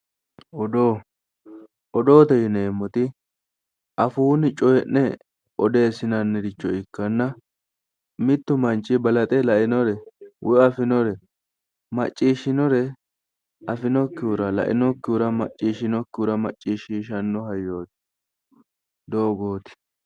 Odoo, odoote yineemmoti afuunni cooyii'ne odeessinanniricho ikkanna mittu manchi balaxe lainore woyi afinore maccishinore afinokkihura lainokkihura macciishshinokkihura macciishshiishanno hayyooti. doogooti.